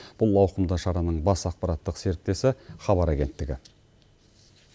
бұл ауқымды шараның бас ақпараттық серіктесі хабар агенттігі